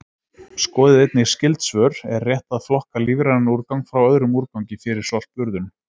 Skoðið einnig skyld svör: Er rétt að flokka lífrænan úrgang frá öðrum úrgangi fyrir sorpurðun?